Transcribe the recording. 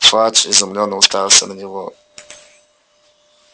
фадж изумлённо уставился на него